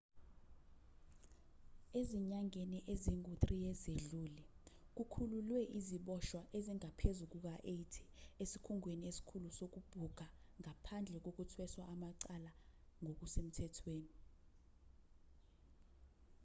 ezinyangeni ezingu-3 ezedlule kukhululwe iziboshwa ezingaphezu kuka-80 esikhungweni esikhulu sokubhuka ngaphandle kokuthweshwa amacala ngokusemthethweni